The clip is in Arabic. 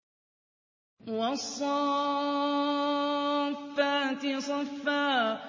وَالصَّافَّاتِ صَفًّا